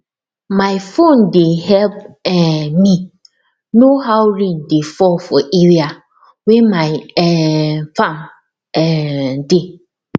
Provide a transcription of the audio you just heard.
my phone dey help um me know how rain dey fall for area wey my um farm um dey